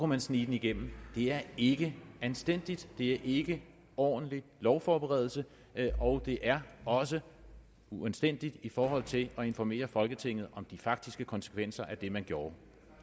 man snige den igennem det er ikke anstændigt det er ikke ordentlig lovforberedelse og det er også uanstændigt i forhold til at informere folketinget om de faktiske konsekvenser af det man gjorde